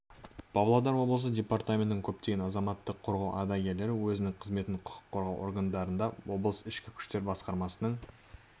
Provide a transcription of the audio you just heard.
павлодар облысы департаментінің көптеген азаматтық қорғау ардагерлері өзінің қызметін құқық қорғау органдарында облыс ішкі күштер басқармасының